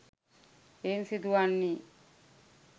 එයින් සිදු වන්නේ